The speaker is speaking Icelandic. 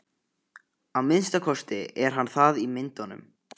Að minnsta kosti er hann það í myndunum.